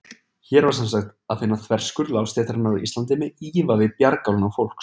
Hér var semsagt að finna þverskurð lágstéttarinnar á Íslandi með ívafi bjargálna fólks.